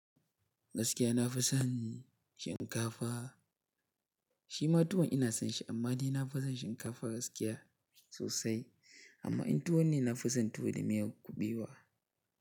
Gaskiya na fi son shinkafa. Shi ma tuwon ina son shi amma ni na fi son shinkafa gaskiya sosai. Amma in tuwo ne, na fi son tuwo da miyar kuɓewa.